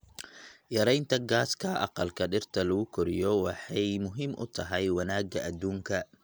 Yaraynta gaaska aqalka dhirta lagu koriyo waxay muhiim u tahay wanaagga aduunka.